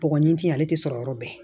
Bɔgɔ in ti ale tɛ sɔrɔ yɔrɔ bɛɛ